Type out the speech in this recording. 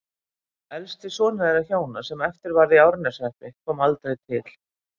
Elsti sonur þeirra hjóna, sem eftir varð í Árneshreppi, kom aldrei til